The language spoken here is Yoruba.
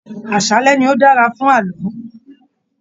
Aṣálẹ ní o dára fún ààlọ́.